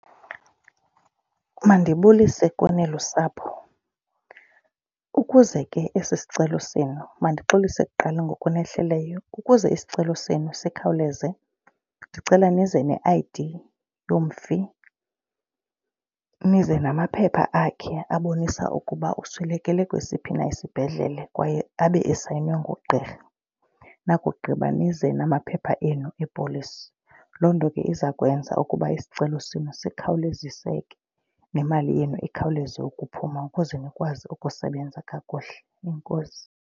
Mandibulise kuni lusapho, ukuze ke esi sicelo senu mandixolise kuqala ngokunehleleyo. Ukuze isicelo senu sikhawuleze ndicela nize ne-I_D yomfi. Nize namaphepha akhe abonisa ukuba uswelekele kwesiphi na isibhedlele kwaye abe esayinwe ngugqirha. Nakugqiba nize namaphepha enu epolisi. Loo nto ke iza kwenza ukuba isicelo senu sikhawuleziseke nemali yenu ikhawuleze ukuphuma ukuze nikwazi ukusebenza kakuhle, enkosi.